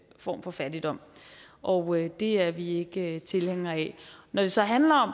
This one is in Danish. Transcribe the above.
form for fattigdom og det er vi ikke tilhængere af når det så handler om